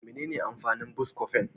Menene amfanin " Buscofen "?